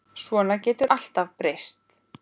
Svona getur allt breyst.